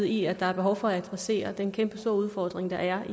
i at der er behov for at adressere den kæmpestore udfordring der er